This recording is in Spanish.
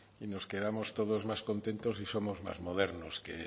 y nos quedamos todos más contentos y somos más modernos